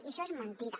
i això és mentida